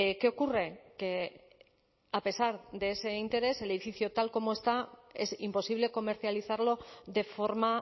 qué ocurre que a pesar de ese interés el edificio tal como está es imposible comercializarlo de forma